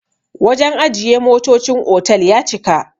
wajen ajiye motocin otal ya cika